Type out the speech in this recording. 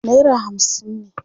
naira hamsin ne